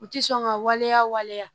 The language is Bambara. U ti sɔn ka waleya waleya